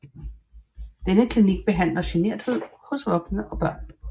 Denne klinik behandler generthed hos voksne og børn